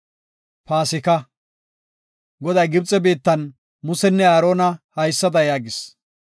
Goday Gibxe biittan Musenne Aarona haysada yaagis;